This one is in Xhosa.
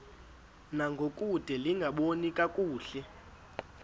ngangokude lingaboni kakuhle